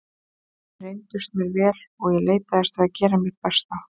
Þeir reyndust mér vel og ég leitaðist við að gera mitt besta.